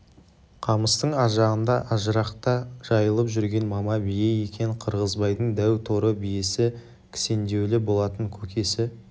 қамыстың ар жағында ажырықта жайылып жүрген мама бие екен қырғызбайдың дәу торы биесі кісендеулі болатын көкесі